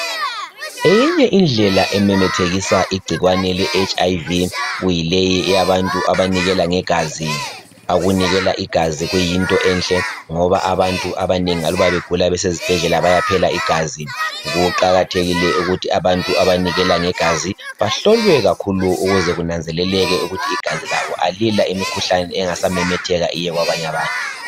Eyinye indlela ememethekisa igcikwane leHIV kuyileyi eyabantu abanikela ngegazi. Ukunikela igazi kuyinto enhle ngoba abantu abanengi aluba begula besezibhedlela bayaphela igazi. Kuqakathekile ukuthi abantu abanikela ngegazi bahlolwe kakhulu ukuze kunanzeleleke ukuthi igazi labo alila imikhuhlane engasamemetheka iye kwabanye abantu.